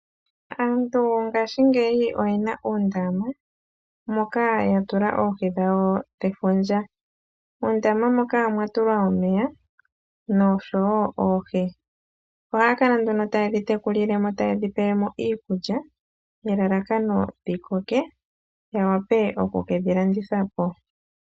Aantu ngaashingeyi oyena uundama ,moka yatula oohi dhawo dhefundja, muundama moka omwa tulwa omeya noshoyo oohi, ohaa kala nduno taye dhi tekula noku dhipa iikulya nelalakano dhikoke, opo yawape oku kedhi landitha po.